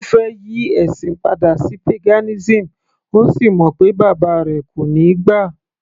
Ó fẹ́ yí ẹ̀sìn padà sí paganism,ó sì mọ̀ pé bàbá rẹ̀ kò níí gbà